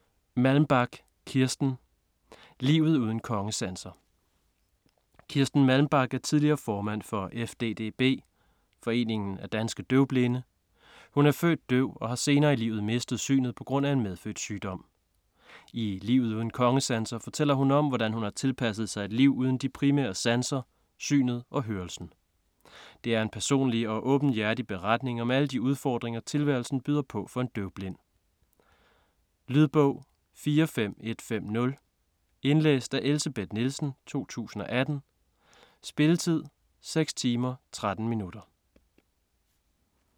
Malmbak, Kirsten: Livet uden kongesanser Kirsten Malmbak er tidligere formand for FDDB (Foreningen af Danske Døvblinde). Hun er født døv og har senere i livet mistet synet pga. en medfødt sygdom. I "Livet uden kongesanser" fortæller hun om, hvordan hun har tilpasset sig et liv uden de to primære sanser, synet og hørelsen. Det er en personlig og åbenhjertig beretning om alle de udfordringer, tilværelsen byder på for en døvblind. Lydbog 45150 Indlæst af Elsebeth Nielsen, 2018. Spilletid: 6 timer, 13 minutter.